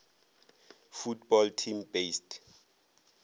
football team based